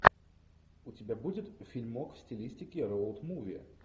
у тебя будет фильмок в стилистике роуд муви